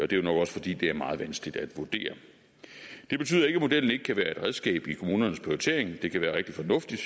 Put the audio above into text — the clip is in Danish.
det er nok også fordi det er meget vanskeligt at vurdere det betyder ikke at modellen ikke kan være et redskab i kommunernes prioritering det kan være rigtig fornuftigt